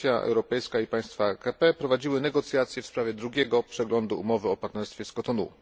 r. Komisja Europejska i państwa AKP prowadziły negocjacje w sprawie drugiego przeglądu umowy o partnerstwie z Kotonu.